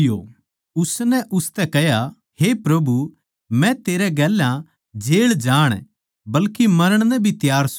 उसनै उसतै कह्या हे प्रभु मै तेरै गेल्या जेळ जाण बल्के मरण नै भी त्यार सूं